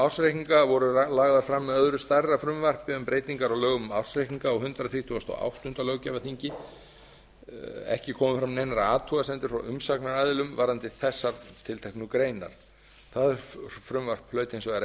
ársreikninga voru lagðar fram með öðru stærra frumvarpi um breytingar á lögum um ársreikninga á hundrað þrítugasta og áttunda löggjafarþingi ekki komu fram neinar athugasemdir frá umsagnaraðilum varðandi þessar tilteknu greinar það frumvarp hlaut hins vegar